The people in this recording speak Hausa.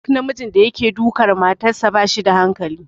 Duk namijin da yake dukar matarsa ba shi da hankali.